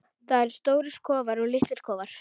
Það eru stórir kofar og litlir kofar.